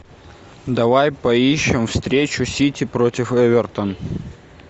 давай поищем встречу сити против эвертон